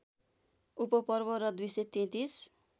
उपपर्व र २३३